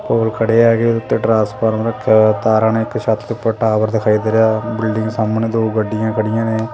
ਉਹ ਖੜੇ ਹੈਗੇ ਉਤੇ ਟਰਾਂਸਫਾਰਮ ਰੱਖਿਆ ਹੋਇਆ ਤਾਰਾਂ ਨੇ ਇੱਕ ਛੱਤ ਤੋਂ ਉੱਪਰ ਟਾਵਰ ਦਿਖਾਈ ਦੇ ਰਿਹਾ ਐ ਬਿਲਡਿੰਗ ਦੇ ਸਾਹਮਣੇ ਦੋ ਗੱਡੀਆਂ ਖੜੀਆਂ ਨੇ।